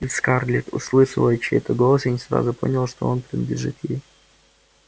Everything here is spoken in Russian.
и скарлетт услышала чей-то голос и не сразу поняла что он принадлежит ей